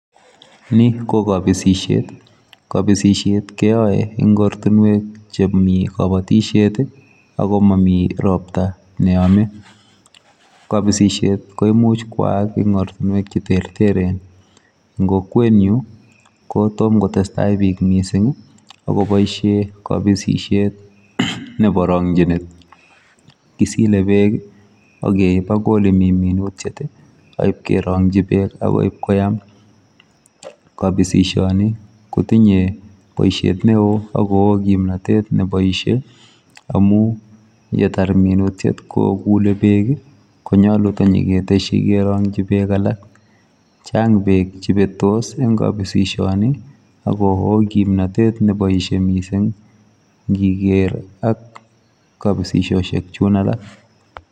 Ni ko kapisishet. Kapisishet keyoe eng ortinwek chemi kabatishet i ako momi ropta neyome. Kapisishet komuch kwaak eng ortinwek cheterteren, eng kokwenyu kotom kotestai biik mising akopoishe kapisishet nepo rong'chinet. Kisile beek, akeip akoi olemi minutyet, aipkerong'chi beek akoi ipkoyam. Kapisishoni kotinye boishet neo oko oo kimnatet neboishe amu yeter minutyet kokule beek konyolu tanyiketeshi kerong'chi beek alak. Chang beek chebetos eng kapisishoni ako oo kimnotet nepoishe mising nkiker ak kapisisoshek chun alak.